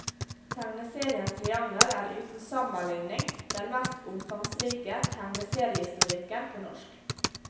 Tegneseriens triangel er uten sammenligning den mest omfangsrike tegneseriehistorikken på norsk.